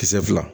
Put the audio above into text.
Kisɛ fila